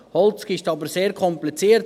Holz ist aber sehr kompliziert;